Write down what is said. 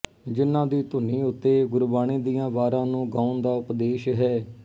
ਜਿਹਨਾਂ ਦੀ ਧੁਨੀ ਉੱਤੇ ਗੁਰਬਾਣੀ ਦੀਆਂ ਵਾਰਾਂ ਨੂੰ ਗਾਉਣ ਦਾ ਉਪਦੇਸ਼ ਹੈ